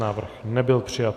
Návrh nebyl přijat.